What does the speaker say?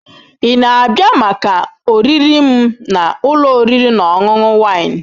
Ị na-abịa maka oriri m na ụlọ oriri na ọṅụṅụ Wine?